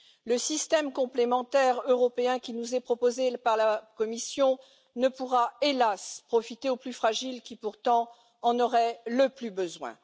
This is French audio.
Le système complémentaire européen qui nous est proposé par la Commission ne pourra, hélas, profiter aux plus fragiles, qui pourtant en auraient le plus besoin.